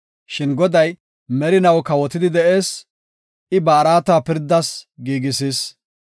Shin Goday merinaw kawotidi de7ees; I ba araata pirdas giigisis.